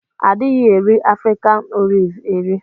Adighi eri afrikan olive eri.